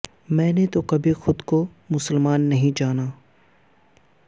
میں نے تو کبھی خود کو مسلماں نہیں جانا